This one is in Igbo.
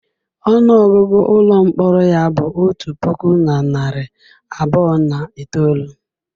Ọnụ ọgụgụ ụlọ mkpọrọ ya bụ otu puku na narị abụọ na itoolu.